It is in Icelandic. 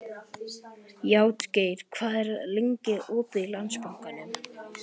Játgeir, hvað er lengi opið í Landsbankanum?